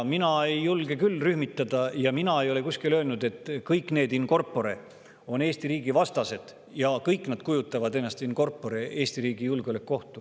Mina küll ei julge rühmitada, ja ma ei ole ka kusagil öelnud, et kõik nad in corpore on Eesti riigi vastased ja kõik nad in corpore kujutavad endast ohtu Eesti riigi julgeolekule.